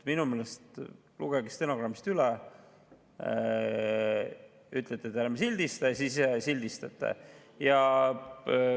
Minu meelest – lugege stenogrammist üle –, ütlete te, et ärme enam sildista, ja siis sildistate edasi.